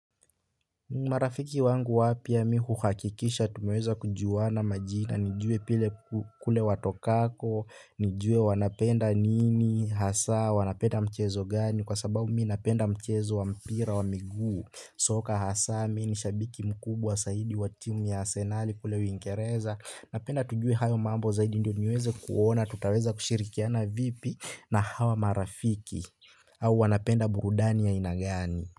Marafiki wangu wapya mimi huhakikisha, tumeweza kujuwana majina, nijue pile kule watokako, nijue wanapenda nini, hasa, wanapenda mchezo gani, kwa sababu mimi napenda mchezo wa mpira wa miguu, soka hasa, mimi ni shabiki mkubwa saidi wa timu ya asenali kule uingerereza, napenda tujue hayo mambo zaidi ndio niweze kuona, tutaweza kushirikiana vipi, na hawa marafiki, au wanapenda burudani ya aina gani.